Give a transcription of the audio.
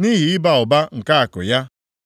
nʼihi ịba ụba nke akụ ya,